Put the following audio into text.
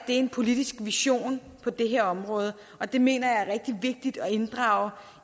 en politisk vision på det her område og det mener jeg er rigtig vigtigt at inddrage